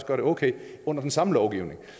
gør det okay under den samme lovgivning